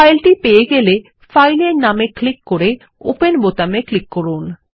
ফাইলটি পেয়ে গেলে ফাইলের নাম এ ক্লিক করে ওপেন বোতামে ক্লিক করুন